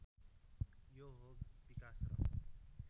यो हो विकास र